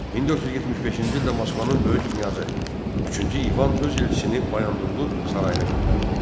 1475-ci ildə Moskvanın böyük knyazı üçüncü İvan öz elçisini Bayandurlu sarayına göndərdi.